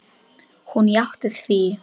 Hún játti því.